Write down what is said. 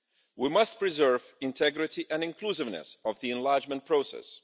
We must preserve the integrity and inclusiveness of the enlargement process.